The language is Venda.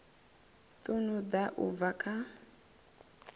ṱun ḓa u bva kha